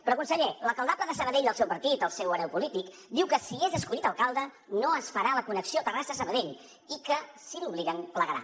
però conseller l’alcaldable de sabadell del seu partit el seu hereu polític diu que si és escollit alcalde no es farà la connexió terrassa sabadell i que si l’hi obliguen plegarà